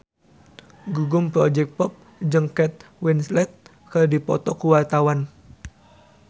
Gugum Project Pop jeung Kate Winslet keur dipoto ku wartawan